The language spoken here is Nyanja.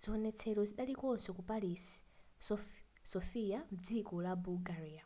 ziwonetsero zidalikonso ku paris sofia mdziko la bulgaria